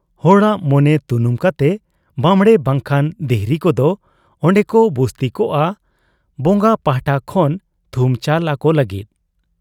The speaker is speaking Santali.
ᱦᱚᱲᱟᱜ ᱢᱚᱱᱮ ᱛᱩᱱᱩᱢ ᱠᱟᱛᱮ ᱵᱟᱵᱽᱬᱮ ᱵᱟᱝᱠᱷᱟᱱ ᱫᱤᱦᱨᱤ ᱠᱚᱫᱚ ᱚᱱᱰᱮᱠᱚ ᱵᱩᱥᱛᱤᱠᱚᱜ ᱟ ᱵᱚᱝᱜᱟ ᱯᱟᱦᱴᱟ ᱠᱷᱚᱱ ᱛᱷᱩᱢ ᱪᱟᱞ ᱟᱠᱚ ᱞᱟᱹᱜᱤᱫ ᱾